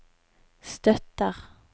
støtter